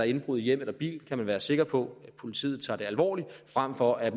indbrud i hjem eller bil kan være sikker på at politiet tager det alvorligt frem for at